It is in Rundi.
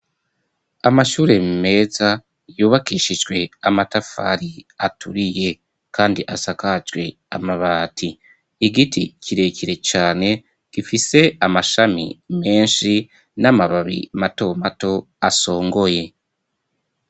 Amashure meza yubakishijwe amatafari aturiye kandi asakajwe amabati, igiti kirekire cane gifise amashami menshi n'amababi matomato asongoye.